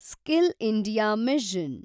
skill India mission